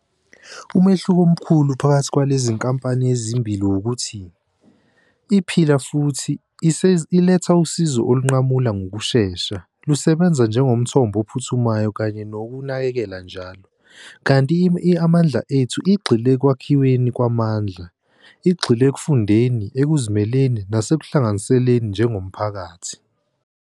Umehluko omkhulu phakathi kwalezi nkampani ezimbili wukuthi, iPhila Futhi iletha usizo olunqamula ngokushesha, lusebenza njengomthombo ophuthumayo kanye nokunakekela njalo. Kanti i-Amandla Ethu igxile ekwakhiweni kwamandla, igxile ekufundeni, ekuzimeleni nasekuhlanganiseleni njengomphakathi.